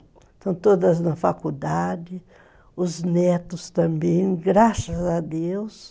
Estão todas na faculdade, os netos também, graças a Deus.